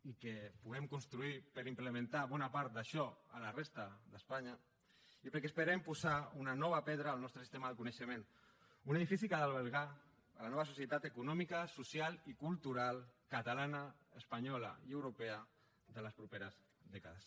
i que puguem construir per implementar bona part d’això a la resta d’espanya i perquè esperem posar una nova pedra al nostre sistema de coneixement un edifici que ha d’albergar la nova societat econòmica social i cultural catalana espanyola i europea de les properes dècades